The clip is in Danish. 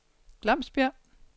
Glamsbjerg